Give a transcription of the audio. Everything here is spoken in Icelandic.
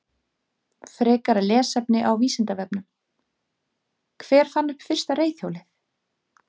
Frekara lesefni á Vísindavefnum: Hver fann upp fyrsta reiðhjólið?